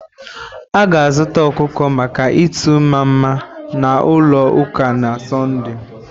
A ga-azụta ọkụkọ maka itu mmama na ulo uka na Sọnde